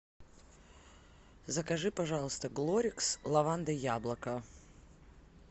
закажи пожалуйста глорикс лаванда яблоко